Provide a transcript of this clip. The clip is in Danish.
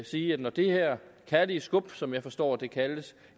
sige at når det her kærlige skub som jeg forstår at det kaldes